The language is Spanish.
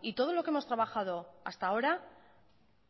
y todo lo que hemos trabajado hasta ahora